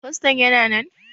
Faston yana nan?